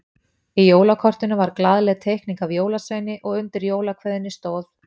Í jólakortinu var glaðleg teikning af jólasveini og undir jólakveðjunni stóð